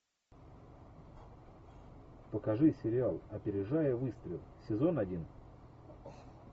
покажи сериал опережая выстрел сезон один